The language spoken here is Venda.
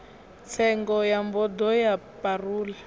tsengo ya bodo ya parole